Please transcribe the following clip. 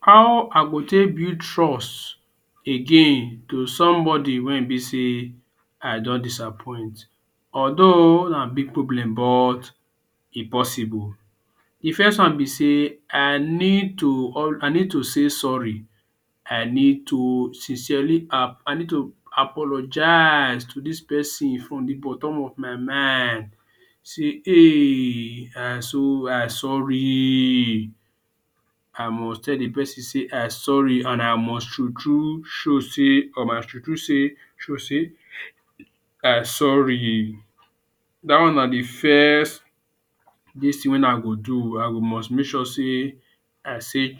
How I go take build trust again to somebody wey e be say I don disappoint although na big problem but e possible. D first wan b say I need to say sorry I need to sincerely apologise to dis persin from d bottom of my mind say um I sorry I go tell d persin say I sorry and I must tru tru show say I sorry dat one na d first dis tin wey I go do I go must make sure say I say